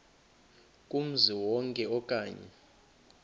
kumzi wonke okanye